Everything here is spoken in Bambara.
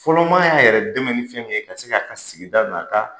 Fɔlɔmaa y'a yɛrɛ dɛmɛ ni fɛn min ye ka se k'a sigida n'a ka